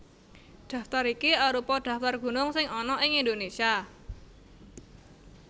Daftar iki arupa daftar gunung sing ana ing Indonésia